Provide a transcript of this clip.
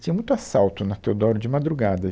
Tinha muito assalto na Teodoro de madrugada.